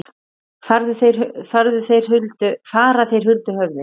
Fara þeir huldu höfði?